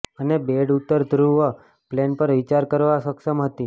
અને બૈર્ડ ઉત્તર ધ્રુવ પ્લેન પર વિચાર કરવા સક્ષમ હતી